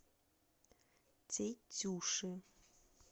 тетюши